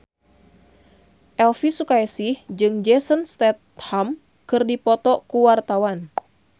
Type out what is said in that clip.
Elvy Sukaesih jeung Jason Statham keur dipoto ku wartawan